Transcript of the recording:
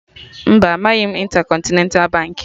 Mba, amaghị m Intercontinental Baankị